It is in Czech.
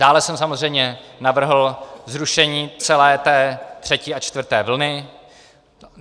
Dále jsem samozřejmě navrhl zrušení celé té třetí a čtvrté vlny.